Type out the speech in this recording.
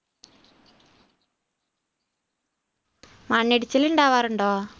മണ്ണിടിച്ചിൽ ഉണ്ടാവാറുണ്ടോ?